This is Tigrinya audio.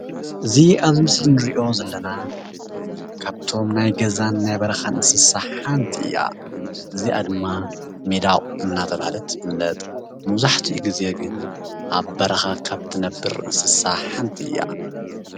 እዚ አብ ምስሊ እንሪኦ ዘለና ካብቶም ናይ ገዛን ናይ በረኻን እንስሳ ሓንቲ እያ ።እዚአ ድማ ሚዳቅ እናተባህለት ትፍልጥ መብዛሕቲኡ ግዜ ግን አብ በረኻ ካብ እትነብር እንስሳ ሓንቲ እያ፡፡